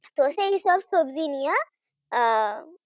শসা এসব সবজি নিয়ে আহ